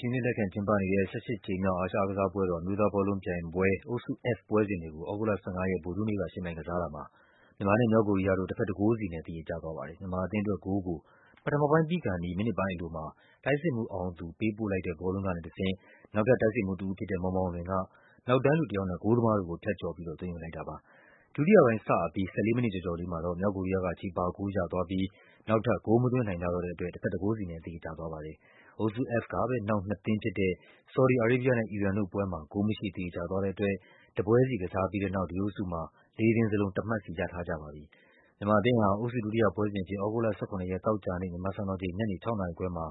ရှင်အဖြစ် လက်ခံကျင်းပနေတဲ့ ၁၈ ကြိမ်မြောက် အာရှအားကစားပွဲတော် အမျိုးသား ဘောလုံးပြိုင်ပွဲ အုပ်စု F ပွဲစဉ်တွေကို သြဂုတ်လ ၁၅ ရက် ဗုဒ္ဓဟူးနေ့က ယှဉ်ပြိုင်ကစားတာမှာ မြန်မာနဲ့ မြောက်ကိုရီးယားတို့ တဘက် ၁ ဂိုးစီနဲ့ သရေကျသွားပါတယ်။ မြန်မာအသင်းအတွက်ဂိုးကို ပထမပိုင်းပြီးခါနီး မိနစ်ပိုင်းအလိုမှာ တိုက်စစ်မှူး အောင်သူ ပေးပို့လိုက်တဲ့ ဘောလုံးကနေတဆင့် နောက်ထပ် တိုက်စစ်မှူးတဦးဖြစ်တဲ့ မောင်မောင်လွင်က နောက်တန်းလူတယောက်နဲ့ ဂိုးသမားတို့ကို ဖြတ်ကျော်ပြီး သွင်းယူ လိုက်တာပါ။ ဒုတိယပိုင်းစအပြီး ၁၄ မိနစ်ကျော်ကျော်လေးမှာတော့ မြောက်ကိုရီးယားက ချေပဂိုးရသွားပြီး နောက်ထပ် ဂိုးမသွင်းနိုင်ကြတော့တဲ့ အတွက် တဘက် ၁ ဂိုးစီနဲ့ သရေကျသွားပါတယ်။ အုပ်စု F ကပဲ နောက်နှစ်သင်းဖြစ်တဲ့ ဆော်ဒီ အာရေးဘီးယားနဲ့ အီရန်တို့ပွဲမှာ ဂိုးမရှိသရေကျသွားတဲ့အတွက် တပွဲစီကစားပြီးတဲ့ နောက် လေးသင်းစလုံး တမှတ်စီရထားကြပါတယ်။ မြန်မာအသင်းဟာ အုပ်စု ဒုတိယပွဲစဉ်အဖြစ် သြဂုတ်လ ၁၇ ရက် သောကြာနေ့ မြန်မာစံတော်ချိန် ညနေ ၆ နာရီခွဲမှာ